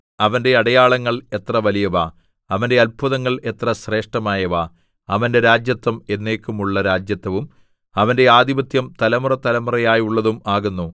അവന്റെ അടയാളങ്ങൾ എത്ര വലിയവ അവന്റെ അത്ഭുതങ്ങൾ എത്ര ശ്രേഷ്ഠമായവ അവന്റെ രാജത്വം എന്നേക്കുമുള്ള രാജത്വവും അവന്റെ ആധിപത്യം തലമുറതലമുറയായുള്ളതും ആകുന്നു